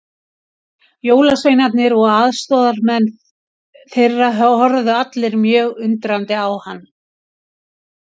Jólasveinarnir og aðstoðarmenn þeirra horfðu allir mjög undrandi á hann.